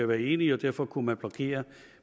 være enige og derfor kunne man blokere